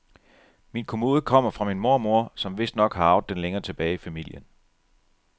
Min kommode kommer fra min mormor, som vistnok har arvet den længere tilbage i familien.